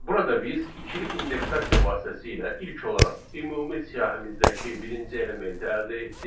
Burada biz ikili indeksasiya vasitəsilə ilk olaraq ümumi siyahımızdakı birinci elementi əldə etdik.